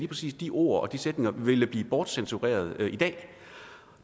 præcis de ord og sætninger ville blive bortcensureret i dag